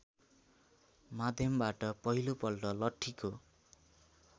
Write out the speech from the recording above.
माध्यमबाट पहिलोपल्ट लठ्ठीको